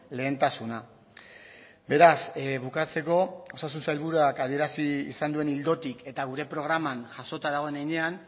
lehentasuna beraz bukatzeko osasun sailburuak adierazi izan duen ildotik eta gure programan jasota dagoen heinean